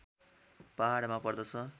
पहाडमा पर्दछ